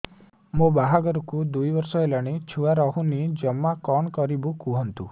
ମୋ ବାହାଘରକୁ ଦୁଇ ବର୍ଷ ହେଲାଣି ଛୁଆ ରହୁନି ଜମା କଣ କରିବୁ କୁହନ୍ତୁ